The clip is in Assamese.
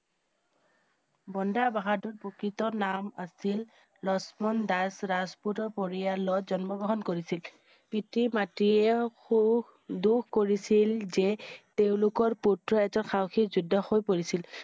বন্দা বাহাদুৰ প্ৰকৃত নাম আছিল লক্ষ্মণ দাস ৰাজপুতৰ পৰিয়ালত জন্ম গ্ৰহণ কৰিছিল পিতৃ মাতৃয়ে সুখ~দুখ কৰিছিল যে তেওঁলোকৰ পুত্ৰ এজন সাহসী যোদ্ধা হৈ পৰিছিল।